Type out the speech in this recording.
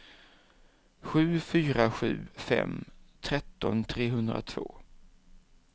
sju fyra sju fem tretton trehundratvå